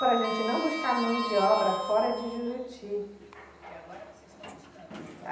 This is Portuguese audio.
Para a gente não buscar mão de obra fora de Juruti. Porque agora vocês estão buscando mão de. A